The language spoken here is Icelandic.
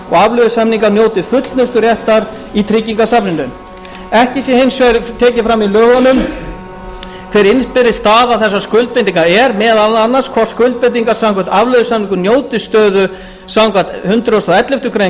afleiðusamningar njóti fullnusturéttar í tryggingasafninu ekki sé hins vegar tekið fram í lögunum hver innbyrðis staða þessara skuldbindinga er meðal annars hvort skuldbindingar samkvæmt afleiðusamningum njóti stöðu samkvæmt hundrað og elleftu greinar